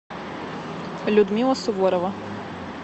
людмила суворова